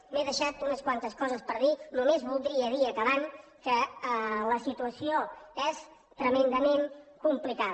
m’he deixat unes quantes coses per dir només voldria dir i acabant que la situació és tremendament complicada